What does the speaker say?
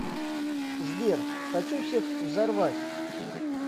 сбер хочу всех взорвать